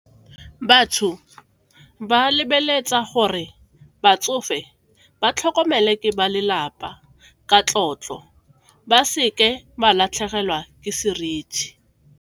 Batho ba lebeletse gore batsofe ba tlhokomele ke ba lelapa ka tlotlo, ba seke ba latlhegelwa ke seriti.